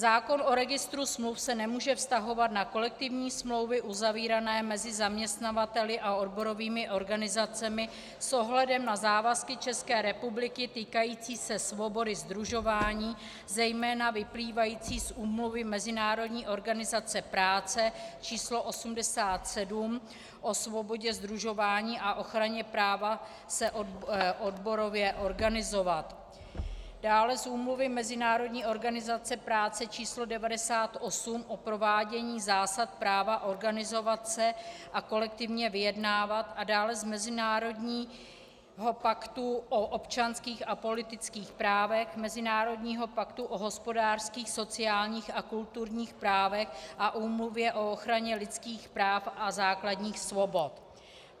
Zákon o registru smluv se nemůže vztahovat na kolektivní smlouvy uzavírané mezi zaměstnavateli a odborovými organizacemi s ohledem na závazky České republiky týkající se svobody sdružování, zejména vyplývající z Úmluvy Mezinárodní organizace práce č. 87 o svobodě sdružování a ochraně práva se odborově organizovat, dále z Úmluvy Mezinárodní organizace práce č. 98 o provádění zásad práva organizovat se a kolektivně vyjednávat a dále z Mezinárodního paktu o občanských a politických právech, Mezinárodního paktu o hospodářských, sociálních a kulturních právech a Úmluvy o ochraně lidských práv a základních svobod.